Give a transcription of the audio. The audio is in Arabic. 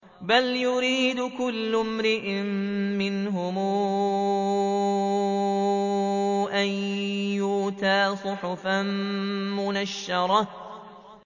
بَلْ يُرِيدُ كُلُّ امْرِئٍ مِّنْهُمْ أَن يُؤْتَىٰ صُحُفًا مُّنَشَّرَةً